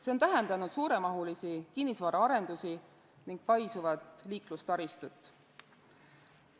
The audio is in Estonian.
See on tähendanud suuremahulisi kinnisvaraarendusi ning paisuvat liiklustaristut.